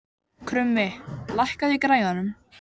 Krummi, lækkaðu í græjunum.